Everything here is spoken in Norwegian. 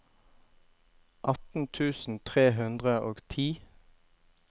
atten tusen tre hundre og ti